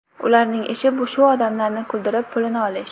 Ularning ishi shu odamlarni kuldirib, pulini olish.